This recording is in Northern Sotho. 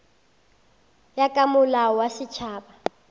ya ka molao wa setšhaba